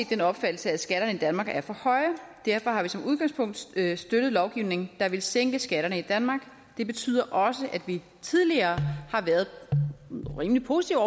den opfattelse at skatterne i danmark er for høje derfor har vi som udgangspunkt støttet lovgivning der vil sænke skatterne i danmark det betyder også at vi tidligere har været rimelig positive